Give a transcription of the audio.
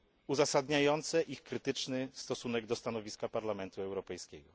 uzasadniające ich krytyczny stosunek do stanowiska Parlamentu Europejskiego.